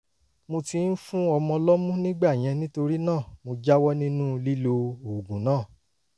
mo ti ń fún ọmọ lọ́mú nígbà yẹn nítorí náà mo jáwọ́ nínú lílo oògùn náà